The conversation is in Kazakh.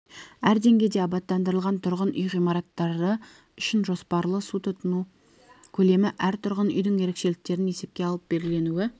әр деңгейде абаттандырылған тұрғын үй ғимараттары үшін жоспарлы су тұтыну көлемі әр тұрғын үйдің ерекшеліктерін есепке алып белгіленуі